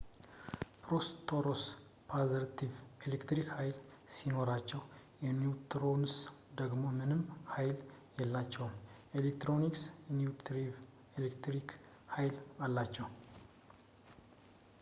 ፕሮቶንስ ፖዘቲቭ የኤሌክትሪክ ሀይል ሲኖራቸው ኒውትሮንስ ደግሞ ምንም ሀይል የላቸውም ኤሌክትሮንስ ኔጌቲቭ የኤሌክትሪክ ሀይል አላቸው